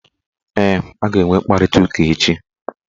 Ee, a ga-enwe mkparịtaụka echi